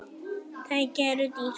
Tæki eru dýr.